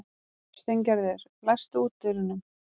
Steingerður, læstu útidyrunum.